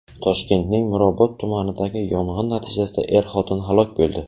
Toshkentning Mirobod tumanidagi yong‘in natijasida er-xotin halok bo‘ldi.